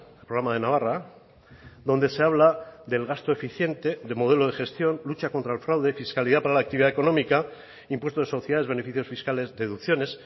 el programa de navarra donde se habla del gasto eficiente de modelo de gestión lucha contra el fraude fiscalidad para la actividad económica impuesto de sociedades beneficios fiscales deducciones